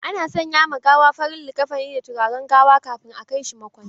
Ana sanya ma gawa farar liƙafani da turaren gawa kafin a kai shi makwancin.